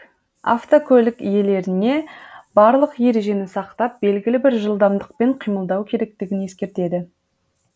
автокөлік иелеріне барлық ережені сақтап белгілі бір жылдамдықпен қимылдау керектігін ескертеді